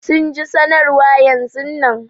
Sun ji sanarwa yanzun nan.